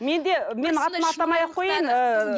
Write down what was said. менде мен атын атамай ақ қояйын ыыы